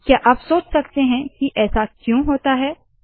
क्या आप सोच सकते है की ऐसा क्यों होता है160